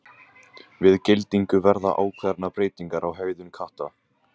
Við geldingu verða ákveðnar breytingar á hegðun katta.